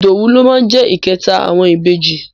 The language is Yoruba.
Ìdòwú ló máa jẹ́ ìkẹta àwọn ìbejì.